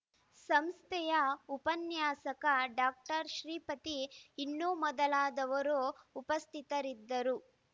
ಸಂಸ್ಥೆಯ ಉಪನ್ಯಾಸಕ ಡಾಕ್ಟರ್ ಶ್ರೀಪತಿ ಇನ್ನೂ ಮೊದಲಾದವರು ಉಪಸ್ಥಿತರಿದ್ದರು